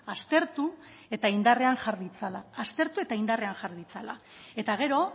aztertu eta indarrean jar ditzala aztertu eta indarrean jar ditzala eta gero